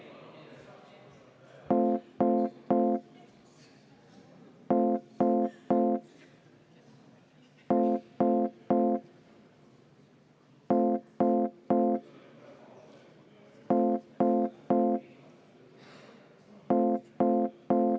Kohal on 58 Riigikogu liiget, puudub tervelt 43.